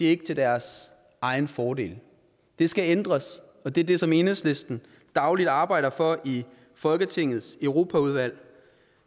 er til deres egen fordel det skal ændres og det er det som enhedslisten dagligt arbejder for i folketingets europaudvalg